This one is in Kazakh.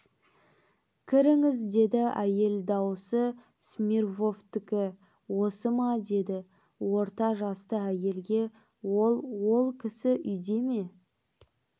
кіріңіз деді әйел даусы смирвовтікі осы ма деді орта жасты әйелге ол ол кісі үйде ме